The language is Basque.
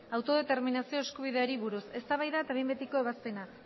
autodeterminazio eskubideari buruz eztabaida eta behin betiko ebazpena